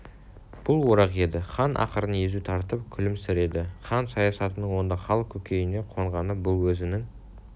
бұл орақ еді хан ақырын езу тартып күлімсіреді хан саясатының онда халық көкейіне қонғаны бұл өзінің